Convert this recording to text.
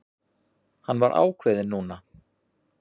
Hann var ákveðinn núna.